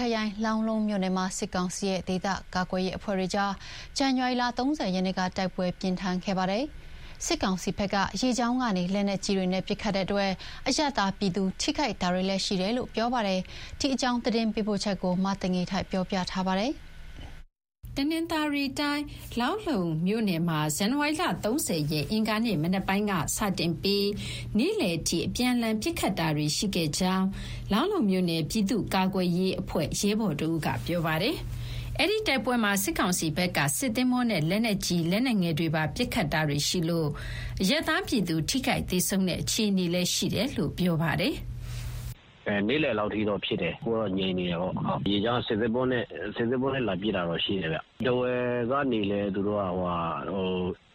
ခရိုင်၊ လောင်းလုံးမြို့နယ်မှာ စစ်ကောင်စီနဲ့ ဒေသကာကွယ်ရေး အဖွဲ့တွေကြား ဇန်နဝါရီလ ၃၀ ရက်နေ့က တိုက်ပွဲပြင်းထန်ခဲ့ပါတယ်။ စစ်ကောင်စီဘက်က ရေကြောင်းကနေ လက်နက်ကြီးတွေနဲ့ ပစ်ခတ်လို့ အရပ်သားပြည်သူ ထိခိုက်တာတွေလည်း ရှိတယ်လို့ ပြောပါတယ်။ ဒီအကြောင်း သတင်းပေးပို့ချက်ကို မသိင်္ဂီထိုက်က တင်ပြပေးထားပါတယ်။ တနင်္သာရီတိုင်း၊ လောင်းလုံးမြို့နယ်မှာ ဇန်နဝါရီလ ၃၀ ရက်၊ အင်္ဂါနေ့မနက်ပိုင်းက စတင်ပြီး နေ့လယ်အထိ အပြန်အလှန်ပစ်ခတ်တာတွေ ရှိခဲ့တယ်လို့ လောင်းလုံးမြို့နယ် ပြည်သူ့ကာကွယ်ရေးအဖွဲ့ ရဲဘော်တဦးက ပြောပါတယ်။ အဲဒီတိုက်ပွဲမှာ စစ်ကောင်စီဘက်က စစ်သင်္ဘောနဲ့ လက်နက်ကြီး လက်နက်ငယ်တွေပါ ပစ်ခတ်တာတွေရှိလို့ အရပ်သားပြည်သူ ထိခိုက်သေဆုံးတဲ့ အခြေအနေလည်း ရှိတယ်လို့ ပြောပါတယ်။ "နေ့လယ်လောက် အထိတော့ ဖြစ်တယ်။ အခုကတော့ ငြိမ်နေတယ်ပေါ့။ ရေကြောင်းက စစ်သင်္ဘောနဲ့ လာပစ်တာတော့ ရှိတယ်ဗျ။ ထားဝယ်ကနေလည်း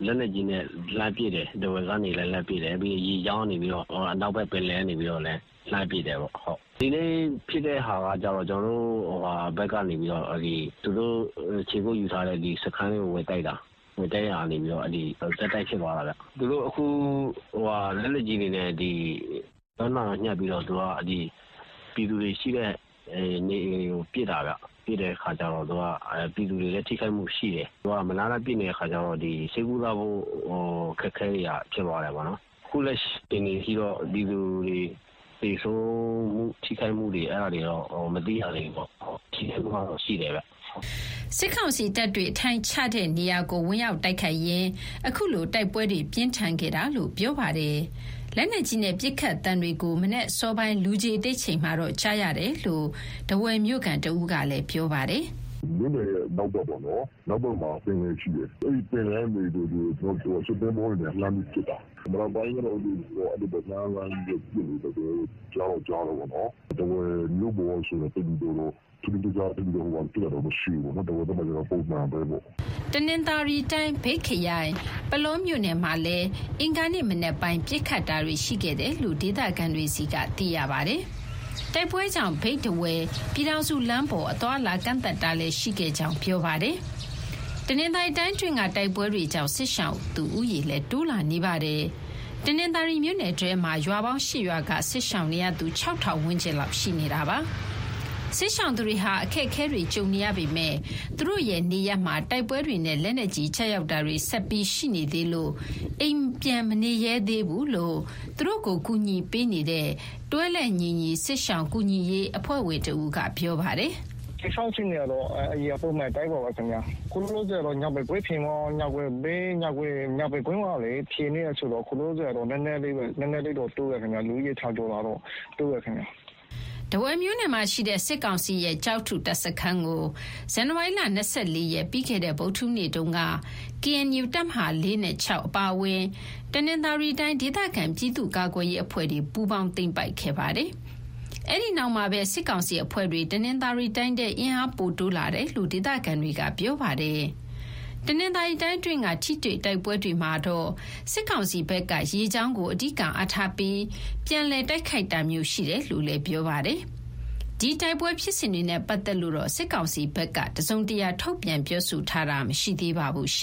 လက်နက်ကြီးနဲ့ လှမ်းပစ်တယ်။ ပြီးရင် အနောက်ဘက် ပင်လယ်ကနေလည်း လှမ်းပစ်တယ်။ ဒီနေ့ဖြစ်တဲ့ဟာက ကျနော်တို့ဘက်ကနေ သူတို့ခြေကုပ်ယူထားတဲ့စခန်းတွေကို ဝင်တိုက်တာကနေ ဆက်တိုက်ဖြစ်သွားတာဗျ။ သူတို့က လက်နက်ကြီးတွေနဲ့ ပြည်သူတွေရှိတဲ့နေအိမ်တွေကို ပစ်တာဗျ။ ပြည်သူတွေလည်း ထိခိုက်မှုရှိတယ်။ မနားတမ်းပစ်နေတော့ ဆေးကုသဖို့ အခက်အခဲ ဖြစ်သွားတယ်။ အခုလက်ရှိ အခြေအနေထိတော့ ပြည်သူတွေ သေဆုံး၊ ထိခိုက်မှုတွေ မသိရသေးဘူးဗျ။ ထိတာတွေတော့ ရှိတယ်ဗျ။" စစ်ကောင်စီတပ်တွေ အထိုင်ချတဲ့နေရာကို ဝင်ရောက်တိုက်ခိုက်ရင်း အခုလို တိုက်ပွဲတွေ ပြင်းထန်ခဲ့တာလို့ ပြောပါတယ်။ လက်နက်ကြီးနဲ့ ပစ်ခတ်သံတွေကို မနက်အစောပိုင်း လူခြေတိတ်ချိန်မှာတော့ ကြားရတယ်လို့ ထားဝယ်မြို့ခံ တဦးကလည်း ပြောပါတယ်။ "လောင်းလုံးမြို့နယ်ရဲ့ အနောက်ဘက်မှာ ပင်လယ်ရှိတယ်။ အဲဒီပင်လယ်ကနေ စစ်သင်္ဘောတွေနဲ့ လှမ်းပြီးပစ်တာ။ မနက်ပိုင်းကတော့ အဲဒီလို လှမ်းပြီးပစ်နေသံတွေ ကြားတော့ကြားတယ်ပေါ့နော်။ ထားဝယ်မြို့ပေါ်မှာတော့ သိပ်ပြီးတော့ ထူးခြားတာမရှိဘူး။ ပုံမှန်ပဲပေါ့။" တနင်္သာရီတိုင်း၊ မြိတ်ခရိုင်၊ ပုလောမြို့နယ်မှာလည်း အင်္ဂါနေ့မနက်ပိုင်း ပစ်ခတ်တာတွေ ရှိခဲ့တယ်လို့ ဒေသခံတွေဆီက သိရပါတယ်။ တိုက်ပွဲကြောင့် မြိတ်-ထားဝယ် ပြည်ထောင်စုလမ်းပေါ် အသွားအလာ ကန့်သတ်ထားတာလည်း ရှိခဲ့တယ်လို့ ပြောပါတယ်။ တနင်္သာရီတိုင်းအတွင်းက တိုက်ပွဲတွေကြောင့် စစ်ရှောင်သူဦးရေလည်း တိုးလာနေပါတယ်။ တနင်္သာရီမြို့နယ်ထဲမှာ ရွာပေါင်း ၈ ရွာက စစ်ရှောင်နေရသူ ၆,၀၀၀ ဝန်းကျင်လောက် ရှိနေပါတယ်။ စစ်ရှောင်သူတွေဟာ အခက်အခဲတွေ ကြုံနေရပေမယ့် သူတို့ရဲ့နေရပ်မှာ တိုက်ပွဲတွေနဲ့ လက်နက်ကြီးကျရောက်တာတွေ ဆက်ပြီးရှိနေသေးလို့ အိမ်ပြန်မနေရဲသေးဘူးလို့ သူတို့ကို ကူညီပေးနေတဲ့ တွဲလက်ညီညီ စစ်ရှောင်ကူညီရေးအဖွဲ့ဝင် တဦးက ပြောပါတယ်။ "စစ်ရှောင်အခြေအနေကတော့ အရင်အခြေအနေ အတိုင်းပါပဲခင်ဗျ။ အခုအချိန်ကတော့ ညောင်ပင်ကွင်းမှာ ဖြစ်နေတာဆိုတော့ စစ်ရှောင်သူဦးရေ နည်းနည်းတော့ တိုးတယ်ဗျ။" ထားဝယ်မြို့နယ်မှာရှိတဲ့ စစ်ကောင်စီရဲ့ ကျောက်ထုတပ်စခန်းကို ဇန်နဝါရီလ ၂၄ ရက်၊ ပြီးခဲ့တဲ့ ဗုဒ္ဓဟူးနေ့တုန်းက KNU တပ်မဟာ နဲ့ အပါအဝင် တနင်္သာရီတိုင်း ဒေသခံပြည်သူ့ကာကွယ်ရေး အဖွဲ့တွေ ပူးပေါင်းသိမ်းပိုက်ခဲ့ပါတယ်။ အဲဒီနောက်မှာပဲ စစ်ကောင်စီအဖွဲ့တွေ တနင်္သာရီတိုင်းထဲ အင်အားပိုတိုးလာတယ်လို့ ဒေသခံတွေက ပြောပါတယ်။ တနင်္သာရီတိုင်းအတွင်းက ထိတွေ့တိုက်ပွဲတွေမှာတော့ စစ်ကောင်စီဘက်က ရေကြောင်းကို အဓိကအားထားပြီး ပြန်လည်တိုက်ခိုက်တာမျိုး ရှိတယ်လို့လည်း ပြောပါတယ်။ ဒီ တိုက်ပွဲဖြစ်စဉ်တွေနဲ့ပတ်သက်လို့တော့ စစ်ကောင်စီဘက်က တစုံတရာ ထုတ်ပြန်ပြောဆိုထားတာမရှိသေးပါဘူး။